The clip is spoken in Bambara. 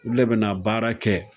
Olu le bɛ na baara kɛ,